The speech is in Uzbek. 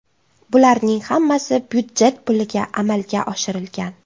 Bularning hammasi byudjet puliga amalga oshirilgan.